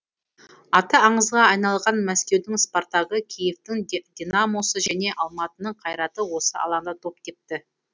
аты аңызға айналған мәскеудің спартагы киевтің динамосы және алматының қайраты осы алаңда доп тепті